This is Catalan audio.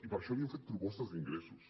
i per això li hem fet propostes d’ingressos